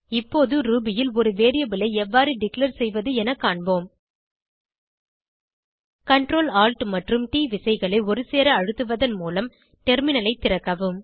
இப்போது ரூபி ல் ஒரு வேரியபிள் ஐ எவ்வறு டிக்ளேர் செய்வது என காண்போம் Ctrl Alt மற்றும் ட் விசைகளை ஒருசேர அழுத்துவதன் மூலம் டெர்மினலை திறக்கவும்